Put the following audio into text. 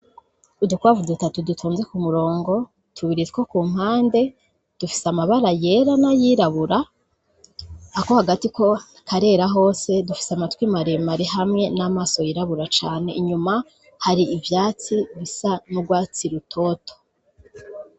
Udukwavu dutatu dutonze ku murongo, tubiri two ku mpande dufise amabara yera n'ayirabura, ako hagati koko karera hose. Dufise amatwi maremare hamwe n'amaso yirabura cane, inyuma hari ivyatsi bisa n'urwatsi rutoto.